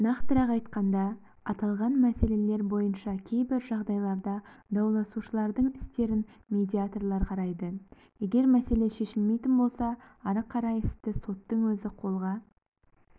нақтырақ айтқанда аталған мәселелер бойынша кейбір жағдайларда дауласушылардың істерін медиаторлар қарайды егер мәселе шешілмейтін болса ары қарай істі соттың өзі қолға